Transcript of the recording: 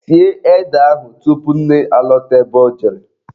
Sie ede ahụ tupu nne alọta ebe ọ jere.